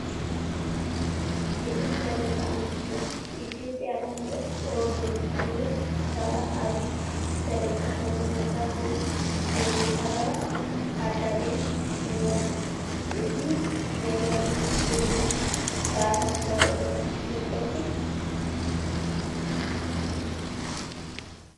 ክልተ ደቂ ኣንስትዩ "Ethiopia land of origins" ዝብል ሻራ ኣብ ዝተለጠፈሉ መድረኽ ናይ ቡና ቀረባት ኣዳልየን እኔዋ፡፡ እዚ ነገር ምስ ቱሪዝም ዝተኣሳሰረ ዶ ይመስል?